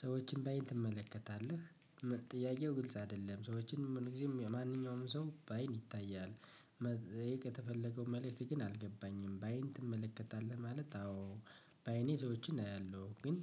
ሰዎችን በአይን ትመለከታለህ? ጥያቄው ግልጽ አይደለም ሰዎችን ምንጊዜም ማንኛውም ሰው በአይን ይታያል ይሄ የተፈለገው መልእክት ግን አልገባኝም። በአይን ትመለከታለህ ማለት አዎ በአይኔ ሰዎችን አያለሁ ግን